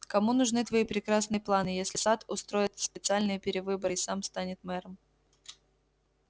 кому нужны твои прекрасные планы если сатт устроит специальные перевыборы и сам станет мэром